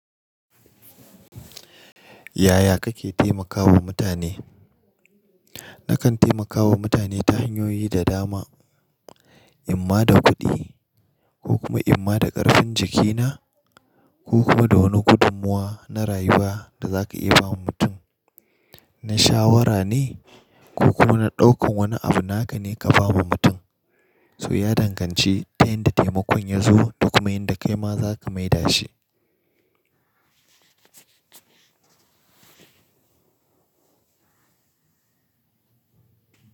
Yaya kake taimakawa mutane? Nakan taimakawa mutane ta hanyoyi da dama, imma da kuɗi ko kuma imma da ƙarfin jikina ko kuma da wani gudummuwa na rayuwa da zaka iya bawa mutum. Na shawara ne ko kuma na ɗaukan wani abu naka ne ka bawa mutum, so ya danganci ta yanda taimakon ya zo da kuma yanda kai ma zaka mai da shi.